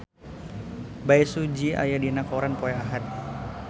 Bae Su Ji aya dina koran poe Ahad